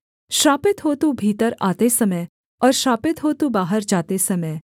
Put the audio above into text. श्रापित हो तू भीतर आते समय और श्रापित हो तू बाहर जाते समय